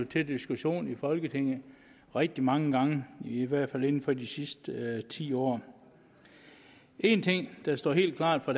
til diskussion i folketinget rigtig mange gange i hvert fald inden for de sidste ti år en ting der står helt klart fra